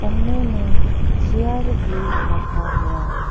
सामने में चेयर भी रखा हुआ है।